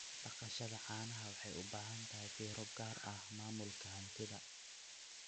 Dhaqashada caanaha waxay u baahan tahay fiiro gaar ah maamulka hantida.